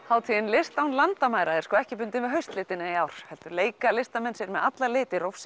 hátíðin list án landamæra er sko ekki bundin við haustlitina í ár heldur leika listamenn sér með alla liti